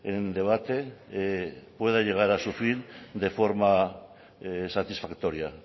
en debate pueda llegar a su fin de forma satisfactoria